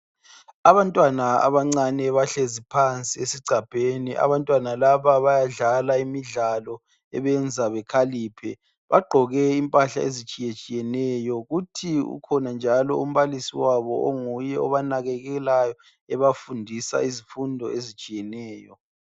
Abantwana abancane bahlezi phansi esigcabheni. Abantwana laba bayadlala imidlalo ebenza bekhaliphe. Bagqoke impahla ezitshiyetshiyeneyo. Kuthi ukhona njalo umbalisi wabo onguye obanakekelayo ebafundisa izifundo ezitshiyeneyo.